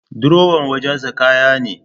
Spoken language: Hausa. Durowa wajen sa kaya ne